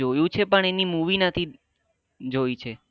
જોયું છે પણ એની મુવી નહી જોયી છે